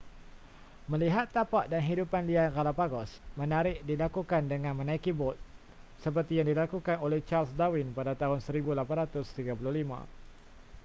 melihat tapak dan hidupan liar galapagos menarik dilakukan dengan menaiki bot seperti yang dilakukan oleh charles darwin pada tahun 1835